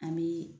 An bɛ